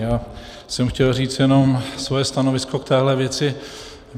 Já jsem chtěl říct jenom svoje stanovisko k téhle věci.